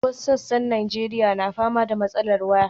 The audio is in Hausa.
Wasu sassan Najeriya na fama da matsalar waya.